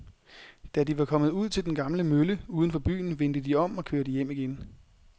Da de var kommet ud til den gamle mølle uden for byen, vendte de om og kørte hjem igen.